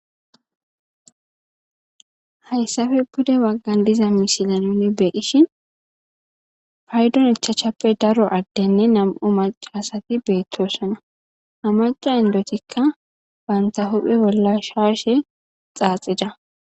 Hayssappe pude bagan de7iza miishatan nuuni be7ishin payday ichchappe daro addenne nam7u macaasati beetosona. Ha macca inddotikka bantta huuphe bolla shaashe xaaxida.